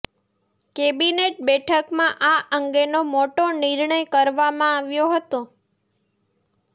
cabinet બેઠકમાં આ અંગેનો મોટો નિર્ણય કરવામાં આવ્યો હતો